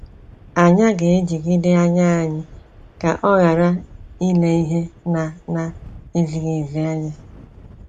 Anya ga ejigide anya anyi ka ọ ghara ile ihe na na ezighi ezi anya.